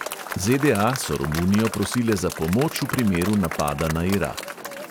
ZDA so romunijo prosile za pomoč v primeru napada na irak.